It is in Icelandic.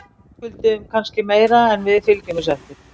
Verðskulduðum kannski meira en við fylgjum þessu eftir.